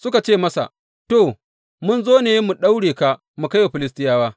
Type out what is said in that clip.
Suka ce masa, To, mun zo ne mu daure ka mu kai wa Filistiyawa.